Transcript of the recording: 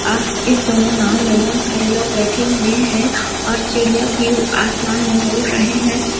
और इस दोनो नांव मे बहोत सारे लोग बैठे हुए हैं और चिड़िया भी आसमान मे उड़ रहै हैं।